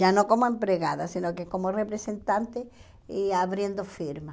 Já não como empregada, se não que como representante e abrindo firma.